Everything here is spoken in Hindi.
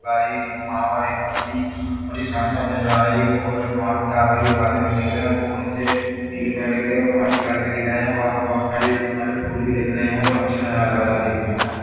बारी वहाँ पर एक तस्वीर बड़ी साफ-साफ नज़र आ रहा है टावर भी बादल भी दिख रहे है वो कुछ पीले कलर के दिख रहे है वाइट कलर के दिख रहे है वहाँ पर बहुत सारे मतलब फूल भी दिख रहे है बहुत अच्छा नज़ारा लग रहा है देखने में--